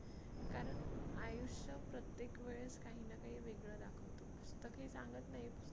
कारण आयुष्य प्रत्येक वेळेस काही ना काही वेगळं दाखवतो पुस्तक हे सांगत नाही.